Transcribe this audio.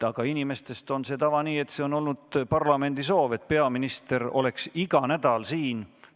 Aga inimeste soovil on tava selline, see on olnud parlamendi soov, et peaminister oleks iga nädal siin.